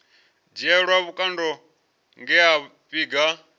dzhielwa vhukando nge a vhiga